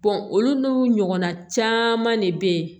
olu n'u ɲɔgɔnna caman de be yen